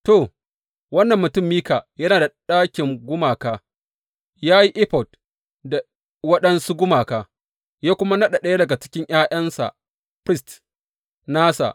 To, wannan mutum Mika yana da ɗakin gumaka, ya yi efod da waɗansu gumaka, ya kuma naɗa ɗaya daga cikin ’ya’yansa firist nasa.